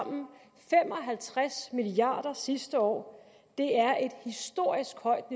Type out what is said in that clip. halvtreds milliard kroner sidste år det er et historisk højt